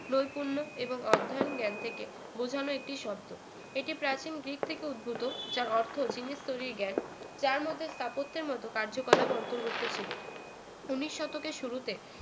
নৈপুণ্য এবং অধ্যায়ন জ্ঞান থেকে বোঝানো একটি শব্দ এটি প্রাচীন গ্রিক থেকে উদ্ভূত যার অর্থ জিনিস তৈরী জ্ঞান যার মধ্যে স্থাপত্যের মত কার্যকলাপ অন্তর্ভুক্ত ছিল উন্নিশ শতকের শুরুতে